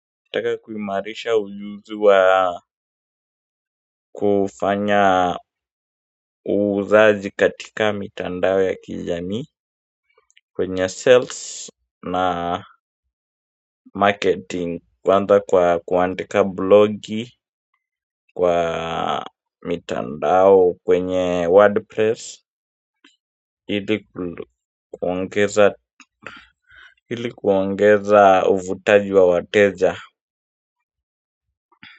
Nataka kuimarisha ujuzi wa kufanya uuzaji katika mitandao ya kijamii kwenye sales na marketing kwanza kwa kuandika blogi kwa mitandao kwenye wordpress ili kuongeza ili kuongeza uvutaji wa wateja.